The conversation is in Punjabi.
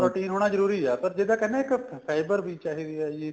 protein ਹੋਣਾ ਜਰੂਰੀ ਏ ਪਰ ਜਿੱਦਾਂ ਕਹਿੰਦੇ ਇੱਕ fiber ਵੀ ਚਾਹੀਦੀ ਏ ਜੀ